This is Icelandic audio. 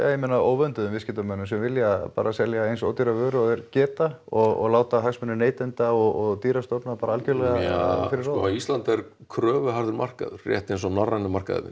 ég meina óvönduðum viðskiptamönnum sem vilja bara selja eins ódýra vöru og þeir geta og láta hagsmuni neytenda og dýrastofna bara algjörlega fyrir sko Ísland er kröfuharður markaður rétt eins og norrænu markaðirnir